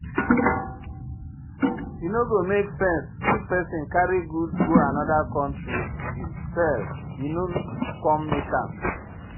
E no go make sense if pesin carry goods go anoda country sell e no come make am.